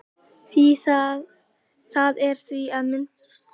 Það er því, að minnsta kosti fræðilegur, möguleiki á því hægt sé að klóna manneskju.